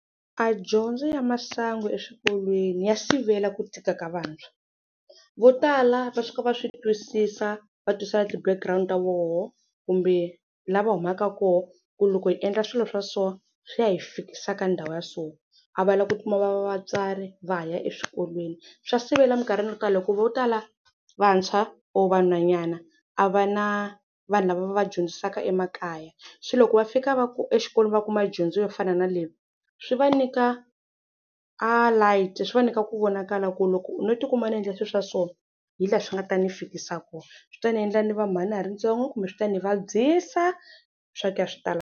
A dyondzo ya masangu eswikolweni ya sivela ku tika ka vantshwa, vo tala va fika va swi twisisa va tiswisisa na ti-background-u ta vona kumbe la va humaka kona ku loko hi endla swilo swa so swi ya hi fikisa ka ndhawu ya so, a va la ku tikuma va va vatswari va ha ya eswikolweni. Swa sivela mikarhini yo tala hi ku vo tala vantshwa or vanhwanyana a va na vanhu lava va vadyondzisaka emakaya, se loko va fika va ku exikolweni va kuma dyondzo yo fana na leyi swi va nyika a light, swi va nyika ku vonakala ku loko no ti kuma ni endla swiswa so hilaha swi nga ta ni fikisa kona. Swi ta ndzi endla ni va mhani na ha ri ntsongo kumbe swi ta ni vabyisa swa ku ya swi tala.